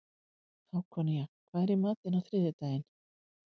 Hákonía, hvað er í matinn á þriðjudaginn?